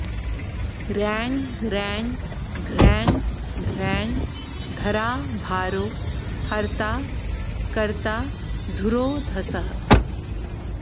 रैं रैं ध्रैं ध्रैं धराभारो हर्ता कर्ता धुरोधसः